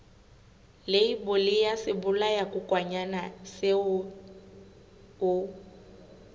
leibole ya sebolayakokwanyana seo o